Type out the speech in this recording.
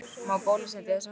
Má bólusetja þessa hópa?